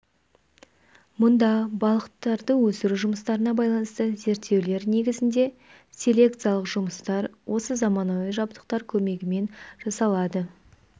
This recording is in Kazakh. мұнда балықтарды өсіру жұмыстарына байланысты зерттеулер негізінде селекциялық жұмыстар осы заманауи жабдықтар көмегімен жасалады